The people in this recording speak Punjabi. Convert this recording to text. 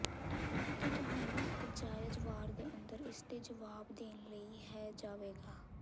ਅਤੇ ਤੁਹਾਨੂੰ ਇੱਕ ਜਾਇਜ਼ ਵਾਰ ਦੇ ਅੰਦਰ ਇਸ ਦੇ ਜਵਾਬ ਦੇਣ ਲਈ ਹੈ ਜਾਵੇਗਾ